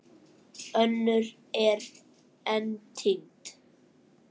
Önnur eru enn týnd.